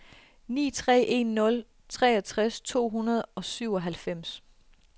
ni tre en nul treogtres to hundrede og syvoghalvfems